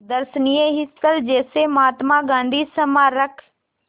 दर्शनीय स्थल जैसे महात्मा गांधी स्मारक